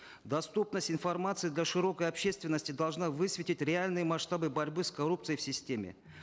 доступность информации для широкой общественности должна высветить реальные масштабы борьбы с коррупцией в системе